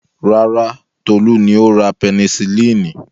Rárá, Tolú ni ó ra pẹnisilínì.